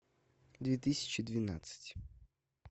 две тысячи двенадцать